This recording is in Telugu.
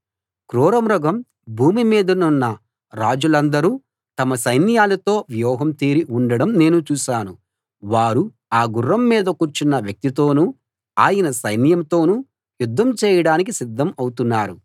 క్రూరమృగం భూమి మీదనున్న రాజులందరూ తమ సైన్యాలతో వ్యూహం తీరి ఉండడం నేను చూశాను వారు ఆ గుర్రం మీద కూర్చున్న వ్యక్తితోనూ ఆయన సైన్యంతోనూ యుద్ధం చేయడానికి సిద్ధం అవుతున్నారు